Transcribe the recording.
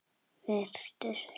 Vertu sæl!